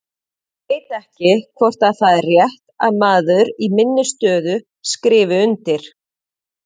Ég veit ekki hvort það er rétt að maður í minni stöðu skrifi undir.